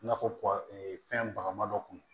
I n'a fɔ fɛn ba ma dɔ kun